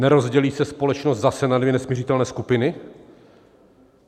Nerozdělí se společnost zase na dvě nesmiřitelné skupiny?